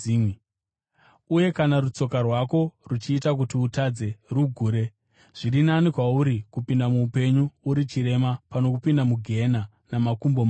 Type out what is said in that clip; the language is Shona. Uye kana rutsoka rwako ruchiita kuti utadze, rugure. Zviri nani kwauri kupinda muupenyu uri chirema pano kupinda mugehena namakumbo maviri,